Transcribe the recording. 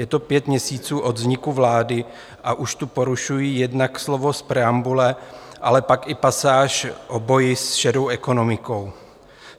Je to pět měsíců od vzniku vlády, a už tu porušují jednak slova z preambule, ale pak i pasáž o boji s šedou ekonomikou.